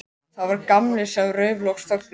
Það var Gamli sem rauf loks þögnina.